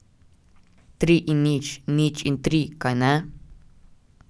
Tri in nič, nič in tri, kajne?